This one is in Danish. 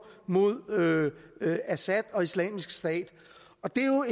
mod assad og islamisk stat og det